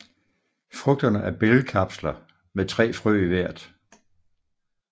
Frugterne er bælgkapsler med 3 frø i hvert